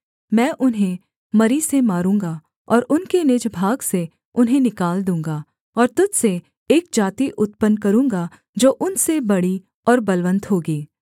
मैं उन्हें मरी से मारूँगा और उनके निज भाग से उन्हें निकाल दूँगा और तुझ से एक जाति उत्पन्न करूँगा जो उनसे बड़ी और बलवन्त होगी